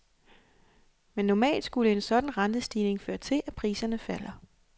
Men normalt skulle en sådan rentestigning føre til, at priserne falder.